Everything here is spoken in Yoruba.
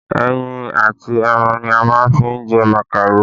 Ẹyin and ẹran ní a máa fi jẹ màkàró